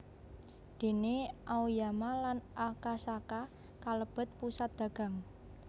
Déné Aoyama lan Akasaka kalebet pusat dagang